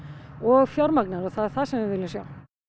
og fjármagna þær það er það sem við viljum sjá